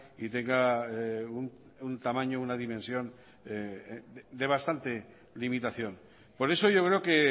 y tenga una dimensión de bastante limitación por eso yo creo que